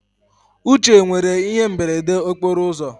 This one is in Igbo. Uche nwere ihe imberede okporo ụzọ